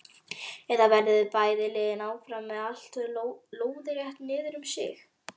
Eða verða bæði liðin áfram með allt lóðrétt niðrum sig?